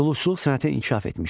Dulusçuluq sənəti inkişaf etmişdi.